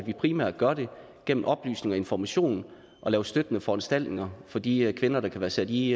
vi primært gøre det gennem oplysning og information og lave støttende foranstaltninger for de kvinder der kan være sat i